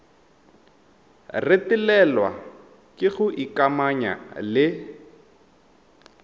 retelelwa ke go ikamanya le